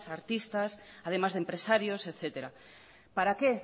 artistas además de empresarios etcétera para qué